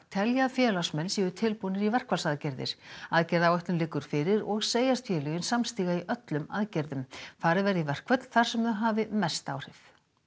telja að félagsmenn séu tilbúnir í verkfallsaðgerðir aðgerðaáætlun liggur fyrir og segjast félögin samstíga í öllum aðgerðum farið verði í verkföll þar sem þau hafi mest áhrif